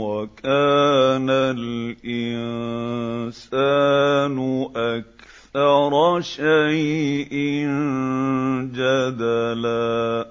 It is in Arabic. وَكَانَ الْإِنسَانُ أَكْثَرَ شَيْءٍ جَدَلًا